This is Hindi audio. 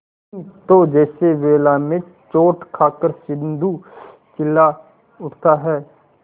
नहीं तो जैसे वेला में चोट खाकर सिंधु चिल्ला उठता है